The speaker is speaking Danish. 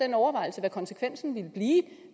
den overvejelse hvad konsekvensen ville blive